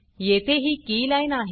येथे ही कीलाईन आहे